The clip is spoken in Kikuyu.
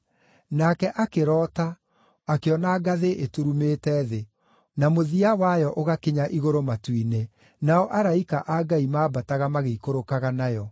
Nake akĩroota, akĩona ngathĩ ĩturumĩte thĩ, na mũthia wayo ũgakinya igũrũ matu-inĩ, nao araika a Ngai mambataga magĩikũrũkaga nayo.